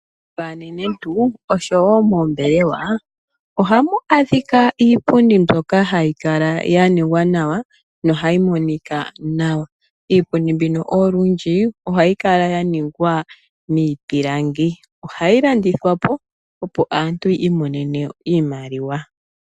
Momagumbo gaanenentu oshowo moombelewa ohamu adhika iipundi mbyoka hayi kala ya ningwa nohayi monika nawa. Iipundi mbino olundji ohayi kala ya ningwa miipilangi. Ohayi landithwa po, opo aantu yi imonene iimaliwa.